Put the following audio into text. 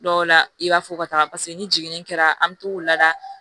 Dɔw la i b'a fɔ u ka taga paseke ni jiginni kɛra an bɛ to k'u lada